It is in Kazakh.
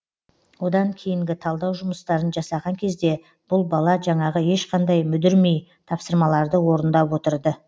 одан кейінгі талдау жұмыстарын жасаған кезде бұл бала жаңағы ешқандай мүдірмей тапсырмаларды орындап отырды